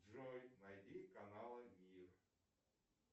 джой найди канал мир